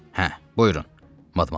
Hə, buyurun, madmazel.